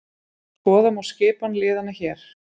Skoða má skipan liðanna hér